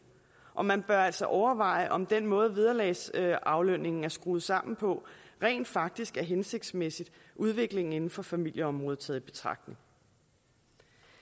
og man bør altså overveje om den måde vederlagsaflønningen er skruet sammen på rent faktisk er hensigtsmæssig udviklingen inden for familieområdet taget